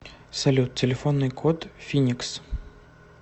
салют телефонный код финикс